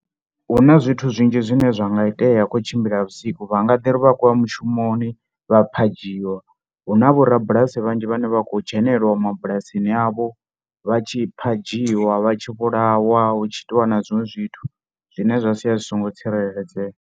Hu na zwithu zwinzhi zwine zwa nga itea kho utshimbila vhusiku. Vha nga ḓi ri vha khou ya mushumoni vha phadzhiwa, hu na vhorabulasi vhanzhi vhane vha khou dzhenelelwa mabulasini avho vha tshi phadzhiwa, vha tshi vhulawa hu tshi itiwa na zwiṅwe zwithu zwine zwa sia zwi songo tsireledzea.